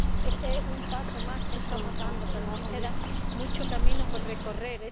este es un paso más que estamos dando, pero nos queda mucho camino por recorrer.